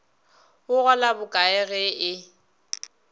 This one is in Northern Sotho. o gola bokae ge e